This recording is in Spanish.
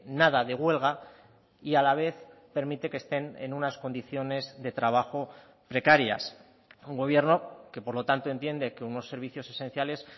nada de huelga y a la vez permite que estén en unas condiciones de trabajo precarias un gobierno que por lo tanto entiende que unos servicios esenciales